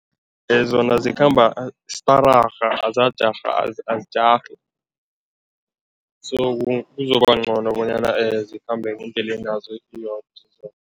Zona zikhamba stararha, azajarhi, azijarhi, so kuzoba ngcono bonyana zikhambe ngendlelenazo iyodwa